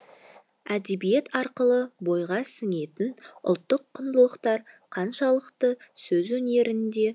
әдебиет арқылы бойға сіңетін ұлттық құндылықтар қаншалықты сөз өнерінде